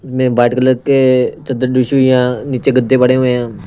में white colour के स यहां नीचे गद्दे पडे हुए हैं।